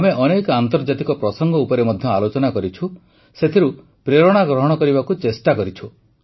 ଆମେ ଅନେକ ଆନ୍ତର୍ଜାତିକ ପ୍ରସଙ୍ଗ ଉପରେ ମଧ୍ୟ ଆଲୋଚନା କରିଛୁ ସେଥିରୁ ପ୍ରେରଣା ଗ୍ରହଣ କରିବାକୁ ଚେଷ୍ଟା କରିଛୁ